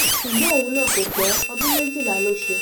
ṣùgbọn òun náà kò pé ọdún méjìlá ló ṣe